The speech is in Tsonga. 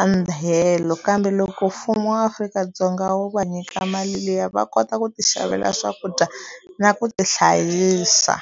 a ndyelo kambe loko mfumo wa afrika dzonga wu va nyika mali liya va kota ku ti xavela swakudya na ku tihlayisa.